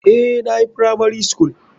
Eh nayi firamari skul.